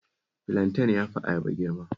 Filanten ya fi ayaba girma